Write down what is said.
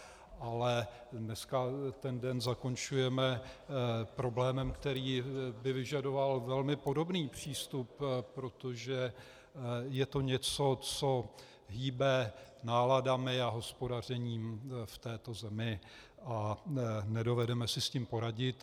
Ale dneska ten den zakončujeme problémem, který by vyžadoval velmi podobný přístup, protože je to něco, co hýbe náladami a hospodařením v této zemi, a nedovedeme si s tím poradit.